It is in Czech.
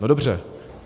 No dobře.